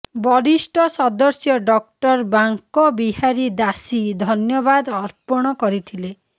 ବରିଷ୍ଠ ସଦସ୍ୟ ଡ଼ଃ ବାଙ୍କ ବିହାରୀ ଦାସି ଧନ୍ୟବାଦ ଅର୍ପଣ କରିଥିଲେ